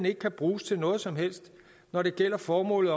ikke kan bruges til noget som helst når det gælder formålet